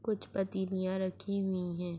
کچھ پتلیا رکھی ہوئی ہے۔